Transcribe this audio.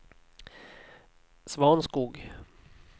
Svanskog